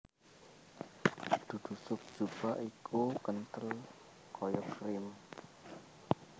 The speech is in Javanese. Duduh sup zupa iku kenthel kaya krim